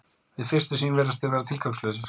Við fyrstu sýn virðast þeir vera tilgangslausir.